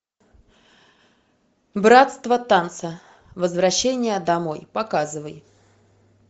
братство танца возвращение домой показывай